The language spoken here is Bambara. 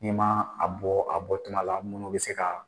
E ma a bɔ a bɔtuma la minnu bɛ se ka